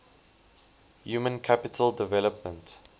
human capital development